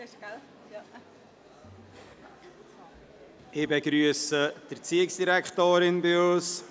Ich begrüsse die Erziehungsdirektorin bei uns.